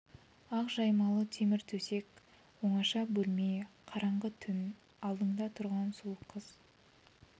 ақ жаймалы темір төсек оңаша бөлме қараңғы түн алдында тұрған сұлу қыз